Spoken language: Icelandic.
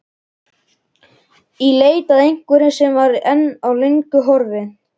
Í leit að einhverju sem var, en er löngu horfið.